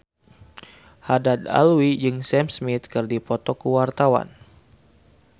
Haddad Alwi jeung Sam Smith keur dipoto ku wartawan